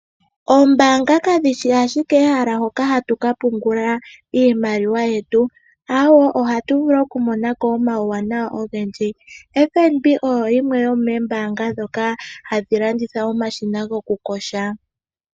Oombaanga kadhi shi ashike ehala hoka hatu ka pungula iimaliwa yetu. Aawe, ohatu vulu okumona ko omauwanawa ogendji. FNB oyo yimwe yomoombaanga ndhoka hadhi kwathele aantu ya lande omashina gokuyoga.